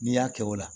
N'i y'a kɛ o la